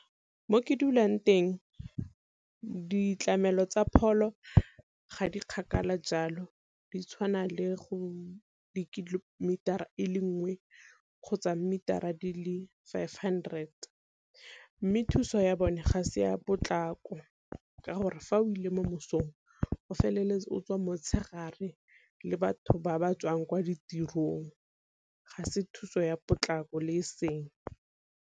Mo ke dulang teng ditlamelo tsa pholo ga di kgakala jalo di tshwana le go dikilomitara e le nngwe kgotsa mmitara dile five hundred, mme thuso ya bone ga se ya potlako ka gore fa o ile mo mosong o feleletsa o tswa motshegare le batho ba ba tswang kwa ditirong ga se thuso ya potlako le e seng.